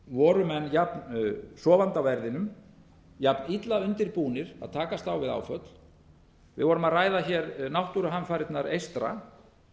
voru mennjafn sofandi á verðinum jafn illa undirbúnir að takast á við áföll við vorum að ræða hér náttúruhamfarirnar eystra